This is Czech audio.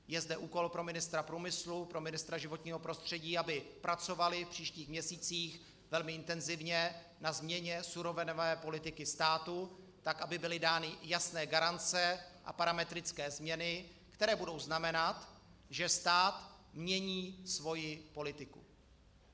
Je zde úkol pro ministra průmyslu, pro ministra životního prostředí, aby pracovali v příštích měsících velmi intenzivně na změně surovinové politiky státu tak, aby byly dány jasné garance a parametrické změny, které budou znamenat, že stát mění svoji politiku.